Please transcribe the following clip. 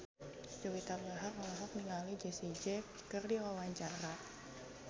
Juwita Bahar olohok ningali Jessie J keur diwawancara